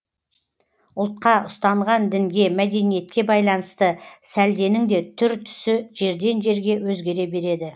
ұлтқа ұстанған дінге мәдениетке байланысты сәлденің де түр түсі жерден жерге өзгере береді